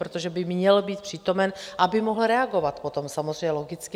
Protože by měl být přítomen, aby mohl reagovat potom samozřejmě, logicky.